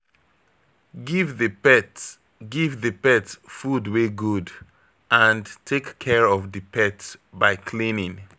Give di pet Give di pet food wey good and take care of di pet by cleaning